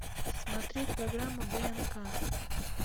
смотреть программу днк